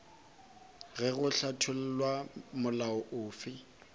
ge go hlathollwa molao ofe